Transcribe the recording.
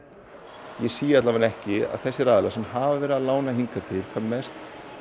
ég sé allavega ekki að þessir aðilar sem hafa verið að lána hingað til hvað mest